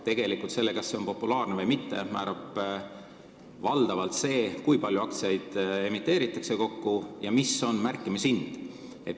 Tegelikult määrab selle, kas aktsioon on populaarne või mitte, valdavalt see, kui palju aktsiaid üldse emiteeritakse ja mis on märkimishind.